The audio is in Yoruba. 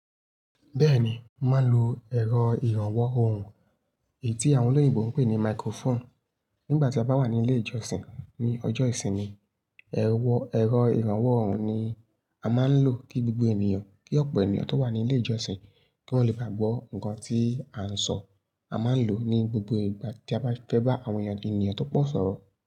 Bẹ́ẹ̀ni, mo má ń lo ẹ̀rọ ìrànwọ́ ohùn èyí tí àwọn olóyìnbo ń pè ní microphone. Nígbà tí a bá wà ní ilé ìjọsìn ní ọjọ́ ìsinmi, ẹ̀rọ ìrànwọ́ ohùn ni a máa ń lò kí gbogbo ènìyàn, kí ọ̀pọ̀ ènìyàn tó wà ní ilé ìjọsìn kí wọ́n le bá gbọ́ ǹkan tí a ń sọ. A máa ń lò ó ní gbogbo ìgbà tí a bá fẹ́ bá àwọn ènìyàn tó pọ̀ sọ̀rọ̀.